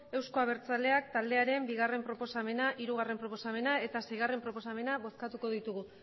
euzko abertzaleak taldearen bigarrena proposamena hirugarrena proposamena eta seigarrena proposamena bozkatuko ditugu